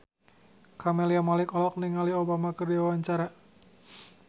Camelia Malik olohok ningali Obama keur diwawancara